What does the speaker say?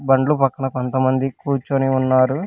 బండ్లు పక్కన కొంతమంది కూర్చొని ఉన్నారు.